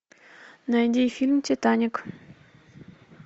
найди фильм титаник